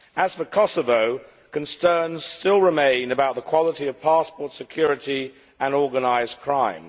As for Kosovo, concerns still remain about the quality of passport security and organised crime.